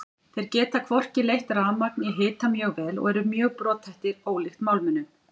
Þeir geta hvorki leitt rafmagn né hita mjög vel og eru mjög brothættir ólíkt málmunum.